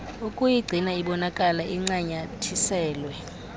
ukuyigcina ibonakala incanyathiselwe